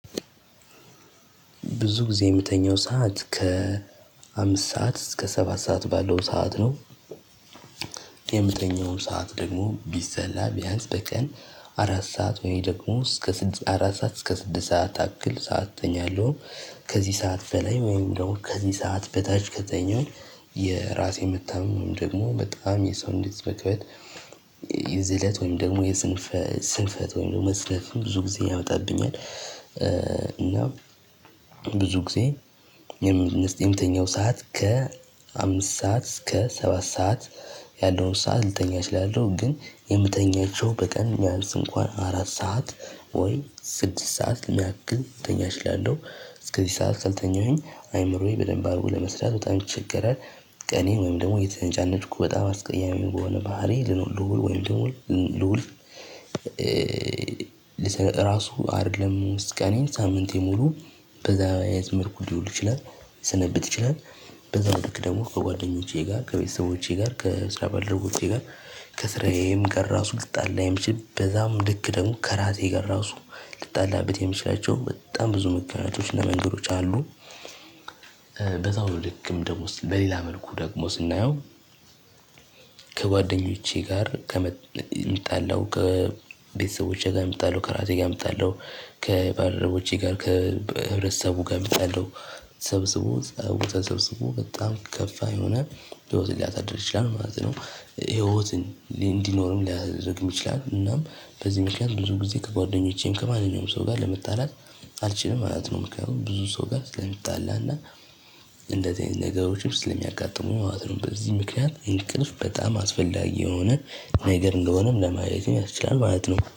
ብዙ ጊዜ የምተኛው ሰዓት ከ አምስት ሰዓት እስከ ሰባት ሰዓት ባለው ሰዓት ነው። የምተኛውን ሰዓት ደግሞ ቢሰላ ቢያንስ በቀን አራት ሰዓት ወይ ደግሞ እስከ ስድስት አራት ሰዓት እስከ ስድስት ሰዓት ያክል ሰዓት ተኛለሁ። ከዚህ ሰዓት በላይ ወይም ደግሞ ከዚህ ሰዓት በታች ከተኛው የራሴ የምታምነው ደግሞ በጣም የሰውነት መክበድ የዝለት ወይም ደግሞ የስንፈ ስንፈት ወይም ደግሞ መስነፍን ብዙ ጊዜ ያመጣብኛል። እና ብዙ ጊዜ የምት የምተኛው ሰዓት ከ አምስት ሰዓት እስከ ሰባት ሰዓት ያለውን ሰዓት ልተኛ እችላለሁ። ግን የምተኛቸው በቀን ቢያንስ እንኳን አራት ሰዓት ወይ ስድስት ሰዓት የሚያክል ልተኛ እችላለሁ እስከዚህ ሰዓት ካልተኛሁኝ አይምሮዬ በደንብ አድርጎ ለመስራት በጣም ይቸገራል። ቀኔን ወይም ደግሞ እየተነጫነጭኩ በጣም አስቀያሚ በሆነ ባህሪ ልኑል ልውል ወይም ደግሞ ልውል። ልሰ ራሱ አይደለም ውስቀኔን ሳምንቴን ሙሉ በዛ አይነት መልኩ ሊውል ይችላል ሊሰነብት ይችላል። በዛው ልክ ደግሞ ከጓደኞቼ ጋር ከቤተሰቦቼ ጋር ከስራ ባልደረቦቼ ጋር ከስራዬም ጋር ራሱ ልጣላ የምችል በዛም ልክ ደግሞ ከራሴ ጋር ራሱ ልጣላበት የምችላቸው በጣም ብዙ ምክንያቶችና መንገዶች አሉ። በዛው ልክም ደግሞ እስቲ በሌላ መልኩ ደግሞ ስናየው። ከጓደኞቼ ጋር ከመ ምጣላው ከቤተሰቦቼ ጋር ምጣላው ከራሴ ጋር ምጣላው። ከባልደረቦቼ ጋር ከህብረተሰቡ ጋር ምጣላው። ሰብስቦ ሰብስቦ በጣም ከፋ የሆነ ህይወትን ሊያሳድር ይችላል ማለት ነው። ህይወትን ለ እንዲኖርም ሊያደርግም ይችላል። እናም በዚህ ምክንያት ብዙ ጊዜ ከጓደኞቼም ከማንኛውም ሰው ጋር ለመጣላት አልችልም ማለት ነው። ምክንያቱም ብዙ ሰው ጋር ስለምጣላና እንደዚህ አይነት ነገሮችም ስለሚያጋጥሙኝ ማለት ነው። በዚህ ምክንያት እንቅልፍ በጣም አስፈላጊ የሆነ ነገር እንደሆነም ለማየትም ያስችላል ማለት ነው